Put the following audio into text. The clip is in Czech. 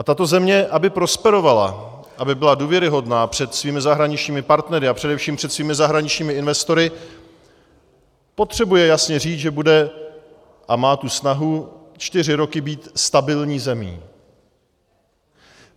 A tato země, aby prosperovala, aby byla důvěryhodná před svými zahraničními partnery a především před svými zahraničními investory, potřebuje jasně říct, že bude a má tu snahu čtyři roky být stabilní zemí.